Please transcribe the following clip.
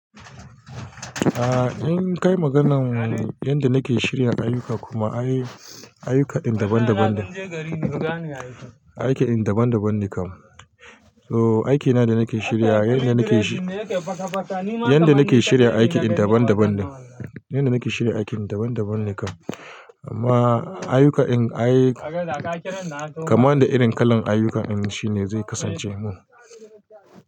Ah, in kai maganan yanda nake shirya ayuka kuma ayyuka daban daban ne, aiki daban daban ne kam. To aikina da nake shirya wa yanda nake shi, yanda nake shirya aiki daban daban ne. Yanda nake shirya aiki daban daban ne kam. Amma aiyuka in ai, kama da irin kalan ayuka shine zai kasance mu.